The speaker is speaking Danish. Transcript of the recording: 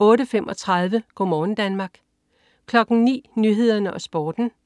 (man-fre) 08.35 Go' morgen Danmark (man-fre) 09.00 Nyhederne og Sporten (man-fre)